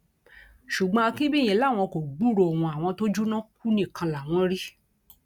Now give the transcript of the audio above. ṣùgbọn akínbíyì làwọn kò gbúròó wọn àwọn tó jóná kú nìkan làwọn rí